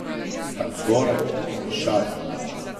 Tam zgoraj, v višavah.